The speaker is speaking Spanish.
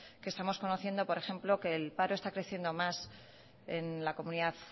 que estamos conociendo por ejemplo que el paro está creciendo más en la comunidad